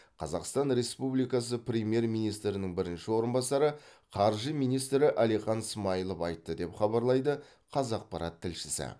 қазақстан республикасы премьер министрінің бірінші орынбасары қаржы министрі әлихан смайылов айтты деп хабарлайды қазақпарат тілшісі